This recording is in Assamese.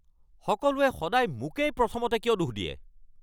সকলোৱে সদায় মোকেই প্ৰথমতে কিয় দোষ দিয়ে?